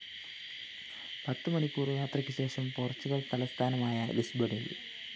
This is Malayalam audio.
പത്തു മണിക്കൂര്‍ യാത്രയ്ക്കു ശേഷം പോര്‍ച്ചുഗല്‍ തലസ്ഥാനമായ ലിസ്ബണില്‍